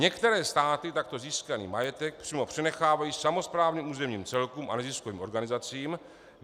Některé státy takto získaný majetek přímo přenechávají samosprávným územním celkům a neziskovým organizacím.